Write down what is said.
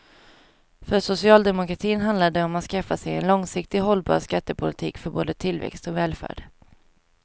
För socialdemokratin handlar det om att skaffa sig en långsiktigt hållbar skattepolitik för både tillväxt och välfärd.